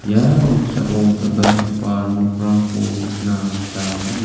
ia noksao dal·dalgipa nokrangko nikna gita man·a.